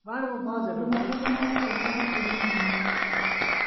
maũndũ marĩkũ marekĩka hakuhĩ na niĩ ?